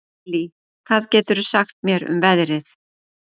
Nellý, hvað geturðu sagt mér um veðrið?